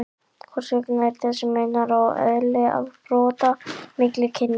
hvers vegna er þessi munur á eðli afbrota milli kynjanna